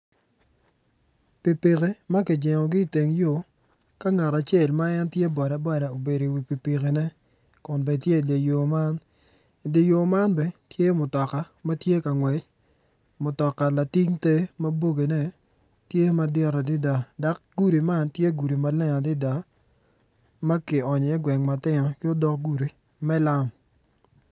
Pikipiki ma kijengogi iteng yo ka ngat acel ma en tye boda boda obedo iwi pikipikine kun bene tye idye yo man idye yo man bene tye mutoka ma tye ka ngwec mutoka lating te ma bogine tye madit adada dok gudi man tye gudi maleng ma kionyo iye gweng matino ki odoko gudi me lam.